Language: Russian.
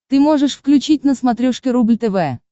ты можешь включить на смотрешке рубль тв